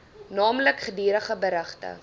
naamlik gedurige berigte